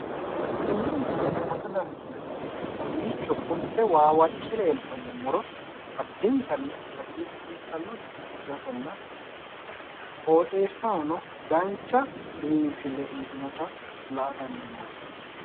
Tenne misile huwata dandineemmohu kowiicho fulte waawacce noota addintanni hagirsiisanno basenna qooxeessahono dancha biinfille uyitino gede la'ate dandiinanni.